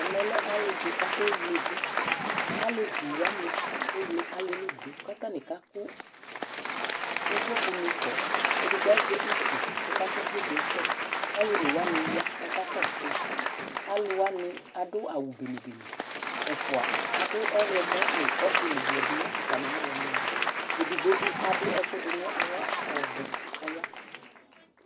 Ɛmɛlɛ alì ɖi kʋ akewleɖu Alevi waŋi kewle alìɛ li ɖu kʋ ataŋi kaku ʋvloku ni kɔ Ɛɖigbo azɛ ʋtu kʋ ɔkakʋ ʋvlokuɛ kɔ Alu ɔne waŋi ya kʋ akakɔsu yi Alu waŋi aɖu awu bene bene Ɛfʋa aɖu ɔwlɔmɔ ŋʋ ɔtili yaɖu ŋu atami awu waŋi ava Ɛɖigbo bi aɖu ɛkʋ ɖu ŋu aɣla ɔvɛ kʋ ɔya